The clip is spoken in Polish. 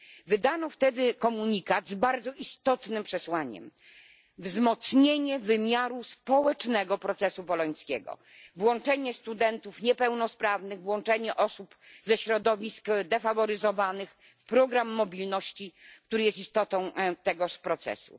Wydano wtedy komunikat z bardzo istotnym przesłaniem wzmocnienie wymiaru społecznego procesu bolońskiego, włączenie studentów niepełnosprawnych, włączenie osób ze środowisk defaworyzowanych, program mobilności, który jest istotą tego procesu.